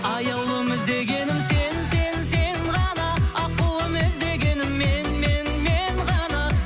аяулым іздегенім сен сен сен ғана аққуым іздегенің мен мен мен ғана